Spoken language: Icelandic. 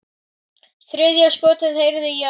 Þriðja skotið heyrði ég aðeins.